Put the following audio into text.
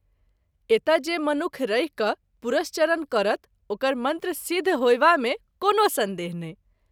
एतय जे मनुख रहि क’ पुरश्चरण करत ओकर मंत्र सिद्ध होएवा मे कोनो संदेह नहिं।